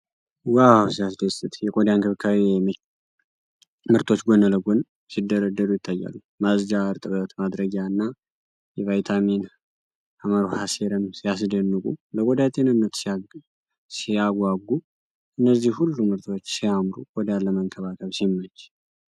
ዋው ሲያስደስት! የቆዳ እንክብካቤ ምርቶች ጎን ለጎን ሲደረደሩ ይታያሉ። ማጽጃ፣ እርጥበት ማድረጊያ እና የቫይታሚን ሐ ሴረም ሲያስደንቁ! ለቆዳ ጤንነት ሲያጓጉ! እነዚህ ሁሉ ምርቶች ሲያምሩ! ቆዳን ለመንከባከብ ሲመች!